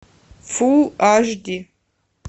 фул аш ди